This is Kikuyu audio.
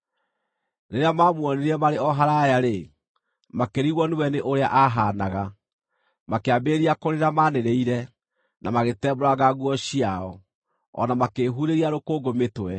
Rĩrĩa maamuonire marĩ o haraaya-rĩ, makĩrigwo nĩwe nĩ ũrĩa aahaanaga; makĩambĩrĩria kũrĩra maanĩrĩire, na magĩtembũranga nguo ciao, o na makĩĩhurĩria rũkũngũ mĩtwe.